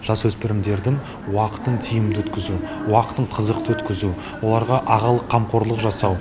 жасөспірімдердің уақытын тиімді өткізу уақытын қызықты өткізу оларға ағалық қамқорлық жасау